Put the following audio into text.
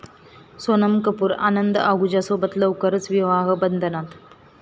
सोनम कपूर आनंद आहुजासोबत लवकरच विवाहबंधनात!